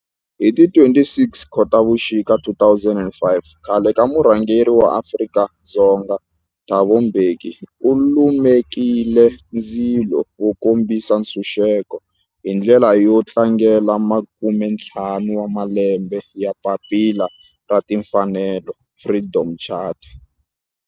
Hi ti 26 Khotavuxika 2005 khale ka murhangeri wa Afrika-Dzonga Thabo Mbeki u lumekile ndzilo wo kombisa ntshuxeko, hi ndlela yo tlangela makumentlhanu wa malembe ya papila ra timfanelo, Freedom Charter.